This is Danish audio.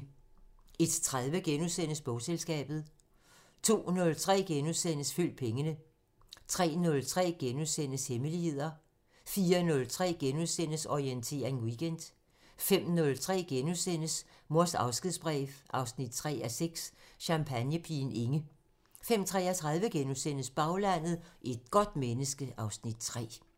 01:30: Bogselskabet * 02:03: Følg pengene * 03:03: Hemmeligheder * 04:03: Orientering Weekend * 05:03: Mors afskedsbrev 3:6 – Champagnepigen Inge * 05:33: Baglandet: Et godt menneske (Afs. 3)*